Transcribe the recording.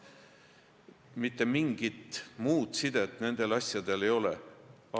Mitte mingit muud sidet nendel asjadel ei ole.